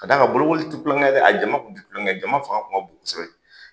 Ka da kan bolokoli ti kulonkɛ ye dɛ, a jama kun ti kulonkɛ ye a fanga kun ka bon kosɛbɛ .